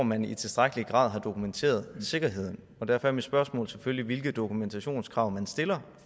man i tilstrækkelig grad har dokumenteret sikkerheden og derfor er mit spørgsmål selvfølgelig hvilke dokumentationskrav stiller